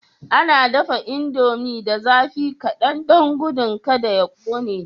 A dafa indomie da zafi kadan don gudun kada ya kone.